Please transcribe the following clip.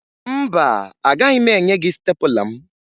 Mba, agaghị m enye gị stepụla m